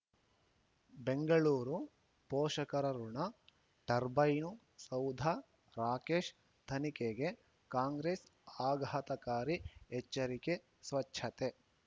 ಬೆಂಗಳೂರು ಪೋಷಕರಋಣ ಟರ್ಬೈನು ಸೌಧ ರಾಕೇಶ್ ತನಿಖೆಗೆ ಕಾಂಗ್ರೆಸ್ ಆಘಾತಕಾರಿ ಎಚ್ಚರಿಕೆ ಸ್ವಚ್ಛತೆ